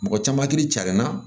Mɔgɔ caman kiri carinna